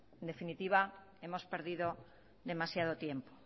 en definitiva hemos perdido demasiado tiempo